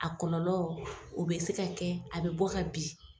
A kɔlɔlɔ o bɛ se ka kɛ a bɛ bɔ ka bin.